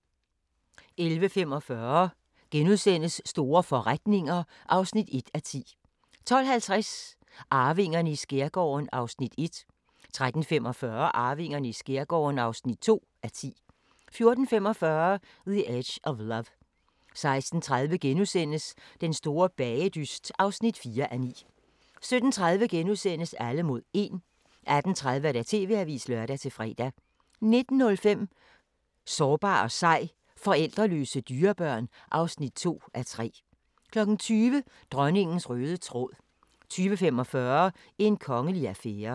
11:45: Store forretninger (1:10)* 12:50: Arvingerne i skærgården (1:10) 13:45: Arvingerne i skærgården (2:10) 14:45: The Edge of Love 16:30: Den store bagedyst (4:9)* 17:30: Alle mod 1 * 18:30: TV-avisen (lør-fre) 19:05: Sårbar og sej – forældreløse dyrebørn (2:3) 20:00: Dronningens røde tråd 20:45: En kongelig affære